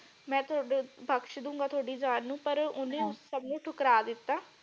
ਮੈਂ ਤੁਹਾਡੇ ਬਕਸ਼ ਦੂੰਗਾ ਤੁਹਾਡੀ ਜਾਨ ਨੂੰ ਪਰ ਓਹਨੇ ਸਬ ਨੂੰ ਠੁਕਰਾ ਦਿੱਤਾ।